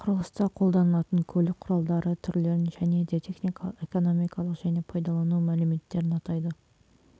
құрылыста қолданылатын көлік құралдары түрлерін және де техникалық экономикалық және пайдалану мәліметтерін атайды